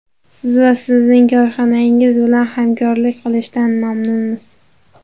Siz va sizning korxonangiz bilan hamkorlik qilishdan mamnunmiz.